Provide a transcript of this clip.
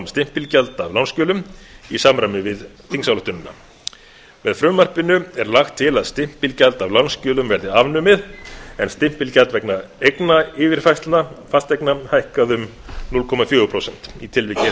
stimpilgjalda af lánsskjölum í samræmi við þingsályktunina með frumvarpinu er lagt til að stimpilgjald af lánsskjölum verði afnumið en stimpilgjald vegna eignayfirfærslna fasteigna hækkað um núll komma fjögur prósent í tilviki einstaklinga